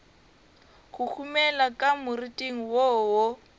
huhumela ka moriting wo wo